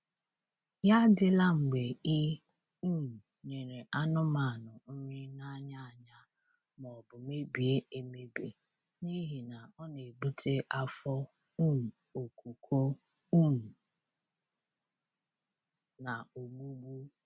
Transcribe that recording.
Ya adịla mgbe I um nyere anụmanụ nri n’anya anya maọbụ mebie emebi n'ihi na ọ na-ebute afọ um okuko um na ogbugbu.